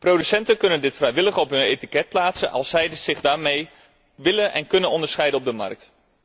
Producenten kunnen dit vrijwillig op hun etiket plaatsen, als zij zich daarmee willen en kunnen onderscheiden op de markt.